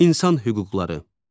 İnsan hüquqları.